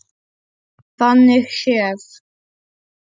Þannig séð.